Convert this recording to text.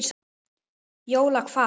Jóla hvað?